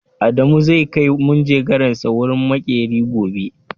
Adamu zai kai manjagaransa wajen maƙeri gobe.